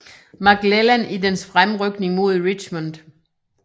McClellan i dens fremrykning mod Richmond